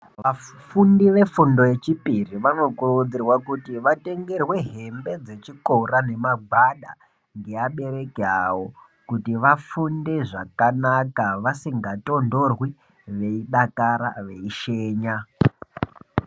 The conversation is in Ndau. Vafundi vefundo yechipiri vanokurudzirwa kuti vatengerwe hembe dzechikora nemagwada ngevabereki avo kuti vafunde zvakanaka vasingatondorwi veidakara veishenya.